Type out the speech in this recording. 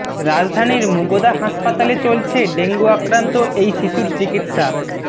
রাজধানীর মুগদা হাসপাতালে চলছে ডেঙ্গু আক্রান্ত এই শিশুর চিকিৎসা